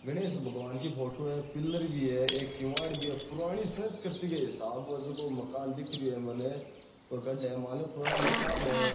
गणेश भगवान की फोटो है पिलर भी है एक किवाड़ भी है पुरानी संस्कृति के हिसाब हु हे जको मकान दिख रहियो है मने पग्गड़ है मानलो पुराना मकान है।